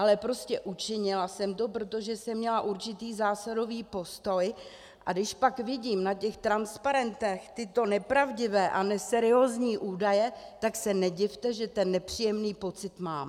Ale prostě učinila jsem to, protože jsem měla určitý zásadový postoj, a když pak vidím na těch transparentech tyto nepravdivé a neseriózní údaje, tak se nedivte, že ten nepříjemný pocit mám.